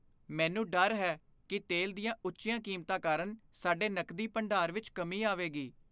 ਮੈਨੂੰ ਡਰ ਹੈ ਕਿ ਤੇਲ ਦੀਆਂ ਉੱਚੀਆਂ ਕੀਮਤਾਂ ਕਾਰਨ ਸਾਡੇ ਨਕਦੀ ਭੰਡਾਰ ਵਿੱਚ ਕਮੀ ਆਵੇਗੀ।